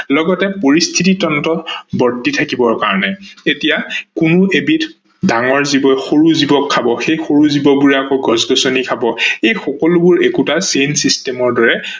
লগতে পৰিস্থিতিতন্ত্ৰত বৰ্তি থাকিবৰ কাৰনে এহিয়া কোনো এবিধ ডাঙৰ জীৱই সৰু জীৱক খাব, সে সৰু জীৱবোৰে আকৌ গছ-গছনি খাব, এই সকলোবোৰ এটা chain system ৰ দৰে